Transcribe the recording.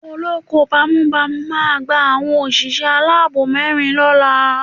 Olóko bámúbamù máa gba àwọn òṣìṣẹ́ aláàbò mẹ́rin lọ́la